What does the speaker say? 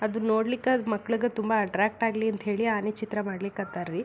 ಅದು ನೋಡ್ಲಿಕ್ಕ ಮಕ್ಕಳೀಗ ತುಂಬಾ ಅಟ್ರಾಕ್ಟ್ ಆಗ್ಲಿ ಅಂತ ಆನಿ ಚಿತ್ರ ಮಾಡ್ಲಿಕ್ ಹತ್ತಾರ್ ರೀ .